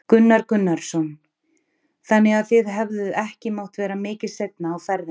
Gunnar Gunnarsson: Þannig að þið hefðuð ekki mátt vera mikið seinna á ferðinni?